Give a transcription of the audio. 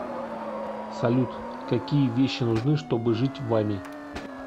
салют какие вещи нужны чтобы жить вами